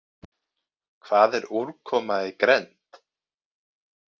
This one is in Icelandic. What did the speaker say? Hvað er úrkoma í grennd?